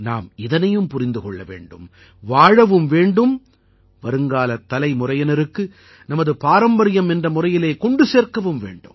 நாம் இதனையும் புரிந்தும் கொள்ள வேண்டும் வாழவும் வேண்டும் வருங்காலத் தலைமுறையினருக்கு நமது பாரம்பரியம் என்ற முறையிலே கொண்டு சேர்க்கவும் வேண்டும்